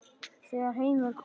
Þegar heim var komið.